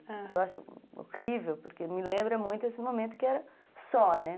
Ah, eu acho horrível, porque me lembra muito esse momento que era só, né?